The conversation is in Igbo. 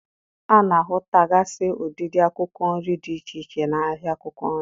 A na-ahụtagasị ụdịdị akwụkwọ nri dị iche iche n'ahịa akwụkwọ nri.